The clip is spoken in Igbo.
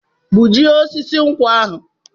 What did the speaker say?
Gbujie osisi nkwụ ahụ!